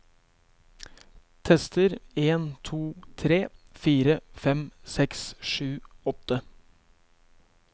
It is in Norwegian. Tester en to tre fire fem seks sju åtte